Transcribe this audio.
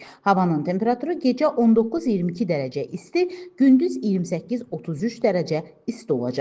Havanın temperaturu gecə 19-22 dərəcə isti, gündüz 28-33 dərəcə isti olacaq.